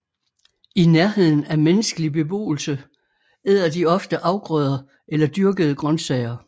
I nærheden af menneskelig beboelse æder de ofte afgrøder eller dyrkede grønsager